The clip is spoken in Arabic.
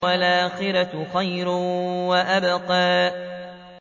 وَالْآخِرَةُ خَيْرٌ وَأَبْقَىٰ